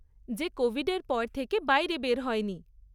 যে কোভিডের পর থেকে বাইরে বের হয়নি।